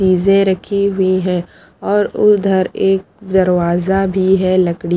चीजे रखी हुई है और उधर एक दरवाजा भी है लकड़ी --